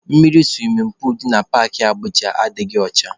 Mmiri suwimin puulu dị na Paakị Abụja adịghị ọcha.